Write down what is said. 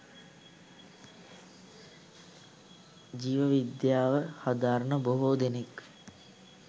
ජීව විද්‍යාව හදාරන බොහෝ දෙනෙක්